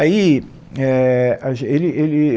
Aí, éh, a gen, ele ele